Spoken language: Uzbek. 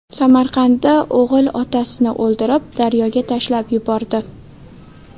Samarqandda o‘g‘il otasini o‘ldirib, daryoga tashlab yubordi.